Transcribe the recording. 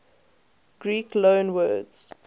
greek loanwords